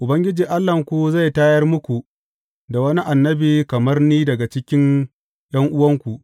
Ubangiji Allahnku zai tayar muku da wani annabi kamar ni daga cikin ’yan’uwanku.